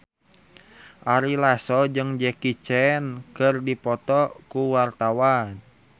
Ari Lasso jeung Jackie Chan keur dipoto ku wartawan